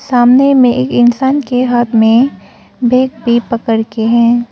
सामने में एक इंसान के हाथ में बैग भी पकड़ के हैं।